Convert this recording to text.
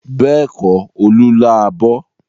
Bẹ́ẹ̀kọ́, Olú lá abọ́.